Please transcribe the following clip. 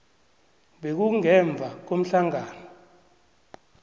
bekube ngemva komhlangano